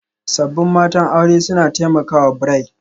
Sabbin matan aure suna taimakawa bri